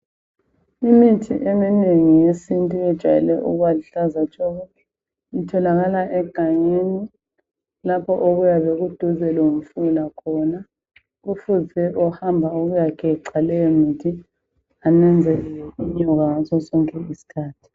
Imithi eminengi yesintu yejayele ukuba luhlaza tshoko. Itholakala egangeni lapho okuyabe kuduze lomfula khona. Kufuze ohamba ukuyageca leyomithi ananzelele inyoka ngasosonke isikhathi.